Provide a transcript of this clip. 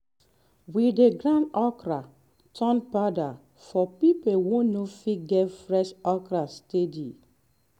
we dey grind okra turn powder for people wey no fit get fresh okra steady